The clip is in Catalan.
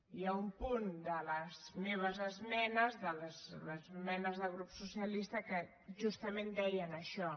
i hi ha un punt de les meves esmenes de les esmenes del grup socialista que justament deia això